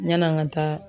Yann'an ka taa